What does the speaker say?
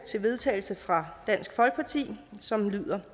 til vedtagelse fra dansk folkeparti som lyder